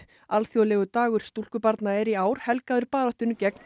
alþjóðlegur dagur stúlkubarna er í ár helgaður baráttunni gegn